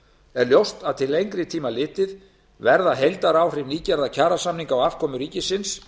er ljóst að til lengri tíma litið verða heildaráhrif nýgerðra kjarasamninga á afkomu ríkisins